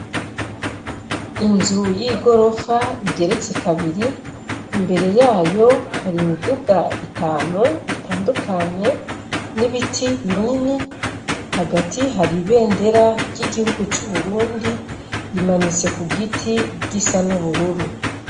Inzu y'igorofa igeretse kabiri imbere yayo hari imiduga itanu itandukanye n'ibiti binini hagati hari ibendera ry'igihugu cu Burundi rimanitse ku giti gisa n'ubururu.